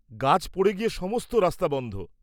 গাছ পড়ে গিয়ে সমস্ত রাস্তা বন্ধ।